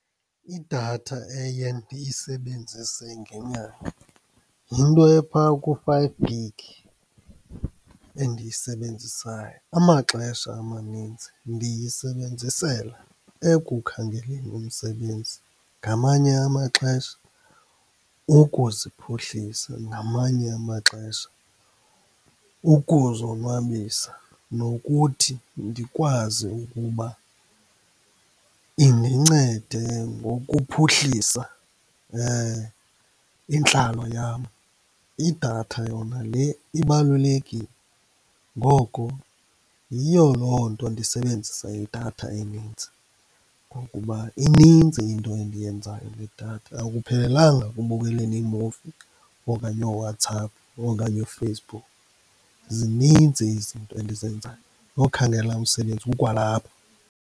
Idatha eye ndiyisebenzise ngenyanga yinto ephaa ku-five gig endiyisebenzisayo. Amaxesha amanintsi ndiyisebenzisela ekukhangeleni umsebenzi, ngamanye amaxesha ukuziphuhlisa, ngamanye amaxesha ukuzonwabisa nokuthi ndikwazi ukuba indincede ngokuphuhlisa intlalo yam. Idatha yona le ibalulekile, ngoko yiyo loo nto ndisebenzisa idatha enintsi ngokuba inintsi into endiyenzayo ngedatha, akuphelelanga ekubukeleni iimuvi, okanye ooWhatsApp okanye ooFacebook, zinintsi izinto endizenzayo, nokhangela umsebenzi kukwalapho.